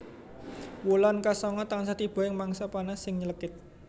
Wulan ka sanga tansah tiba ing mangsa panas sing nylekit